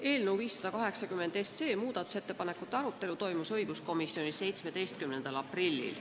Eelnõu 580 muudatusettepanekute arutelu toimus õiguskomisjonis 17. aprillil.